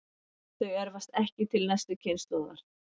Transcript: Þau erfast ekki til næstu kynslóðar.